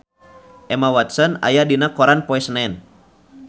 Emma Watson aya dina koran poe Senen